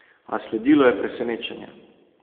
A sledilo je presenečenje.